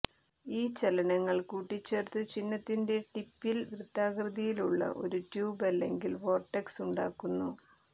ഈ ചലനങ്ങൾ കൂട്ടിച്ചേർത്തു ചിഹ്നത്തിന്റെ ടിപ്പിൽ വൃത്താകൃതിയിലുള്ള ഒരു ട്യൂബ് അല്ലെങ്കിൽ വോർട്ടെക്സ് ഉണ്ടാക്കുന്നു